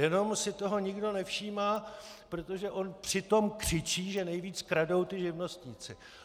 Jenom si toho nikdo nevšímá, protože on přitom křičí, že nejvíc kradou ti živnostníci.